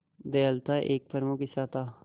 दयालुता एक प्रमुख हिस्सा था